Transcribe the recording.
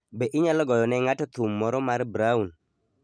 Be inyalo goyo ne ng'ato thum moro mar brown?